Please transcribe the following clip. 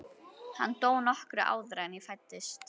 Hann dó nokkru áður en ég fæddist.